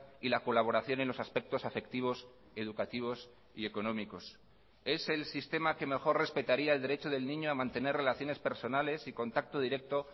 y la colaboración en los aspectos afectivos educativos y económicos es el sistema que mejor respetaría el derecho del niño a mantener relaciones personales y contacto directo